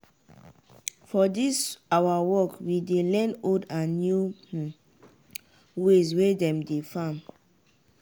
for dis awa work we dey learn old and new um ways wey dem dey farm.